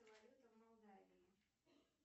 валюта в молдавии